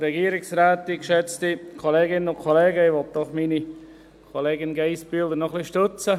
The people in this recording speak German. Ich möchte meine Kollegin Geissbühler bei diesem Antrag etwas stützen.